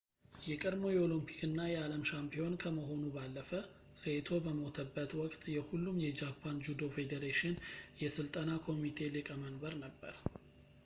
የቀድሞው የኦሎምፒክ እና የዓለም ሻምፒዮን ከመሆኑ ባለፈ ሴይቶ በሞተበት ወቅት የሁሉም የጃፓን ጁዶ ፌዴሬሽን የሥልጠና ኮሚቴ ሊቀ መንበር ነበር